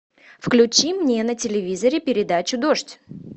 включи мне на телевизоре передачу дождь